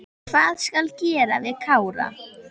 Hvað skal gera við Kára?